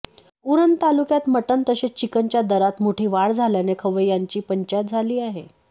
उरण तालुक्यात मटण तसेच चिकणच्या दराम मोठी वाढ झाल्याने खवय्यांची पंचायत झाली आहे